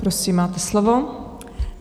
Prosím, máte slovo.